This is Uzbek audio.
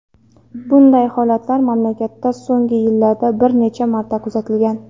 Bunday holatlar mamlakatda so‘nggi yillarda bir necha marta kuzatilgan.